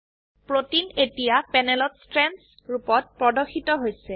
protein এতিয়া প্যানেলত strands ৰুপত প্ৰদৰ্শিত হৈছে